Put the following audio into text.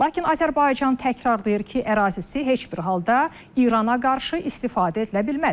Lakin Azərbaycan təkrarlayır ki, ərazisi heç bir halda İrana qarşı istifadə edilə bilməz.